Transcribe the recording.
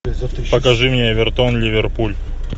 покажи мне эвертон ливерпуль